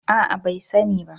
A'a bai sani ba